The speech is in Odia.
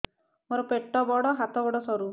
ମୋର ପେଟ ବଡ ହାତ ଗୋଡ ସରୁ